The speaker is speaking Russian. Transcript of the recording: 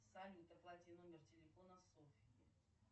салют оплати номер телефона софьи